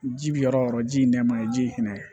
Ji bi yɔrɔ o yɔrɔ ji ye nɛma ye ji ye hinɛ ye